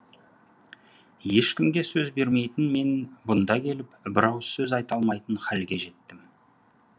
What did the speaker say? ешкімге сөз бермейтін мен бұнда келіп бір ауыз сөз айта алмайтын халге жеттім